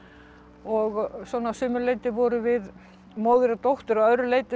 og svona að sumu leyti vorum við móðir og dóttir að öðru leyti